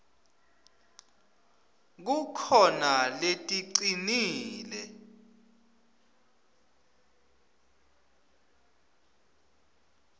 kukhona leticinile